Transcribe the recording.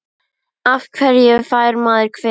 Af hverju fær maður kvef?